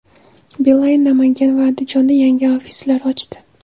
Beeline Namangan va Andijonda yangi ofislar ochdi.